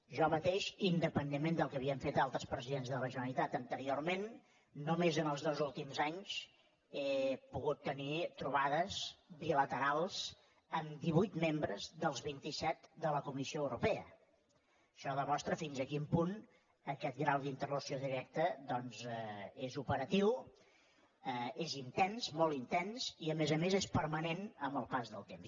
jo mateix independentment ment del que havien fet altres presidents de la generalitat anteriorment només en els dos últims anys he pogut tenir trobades bilaterals amb divuit membres dels vint iset de la comissió europea això demostra fins a quin punt aquest grau d’interlocució directa doncs és operatiu és intens molt intens i a més a més és permanent amb el pas del temps